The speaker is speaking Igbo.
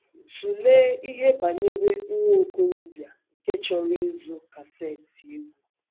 Tụlee ihe banyere nwa okorobịa nke chọrọ ịzụ kaseti egwú.